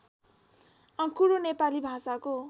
आँकुरो नेपाली भाषाको